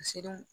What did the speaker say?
Siranw